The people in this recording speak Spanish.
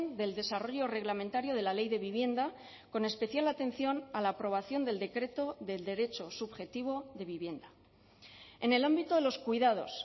del desarrollo reglamentario de la ley de vivienda con especial atención a la aprobación del decreto del derecho subjetivo de vivienda en el ámbito de los cuidados